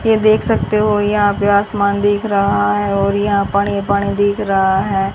ये देख सकते हो यहां पे आसमान दिख रहा है और यहां पानी पानी दिख रहा है।